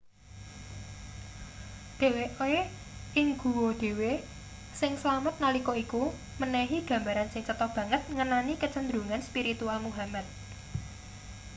dheweke ing guwa dhewe sing slamet nalika iku menehi gambaran sing cetha banget ngenani kecenderungan spiritual muhammad